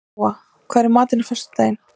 Jóa, hvað er í matinn á föstudaginn?